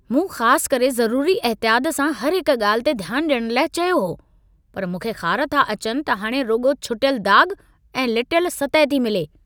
मूं ख़ासि करे ज़रूरी अहतियात सां हर हिकु ॻाल्हि ते ध्यानु ॾियण लाइ चयो हो, पर मूंखे ख़ार था अचनि त हाणे रुॻो छुटियल दाग़ ऐं लटियल सतह थी मिले।